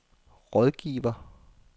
rådgiver